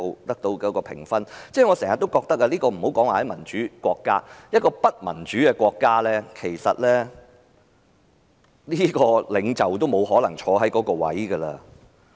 我經常覺得，暫不說民主國家，即使在不民主的國家，得到這麼低評分的領袖也沒可能繼續在任。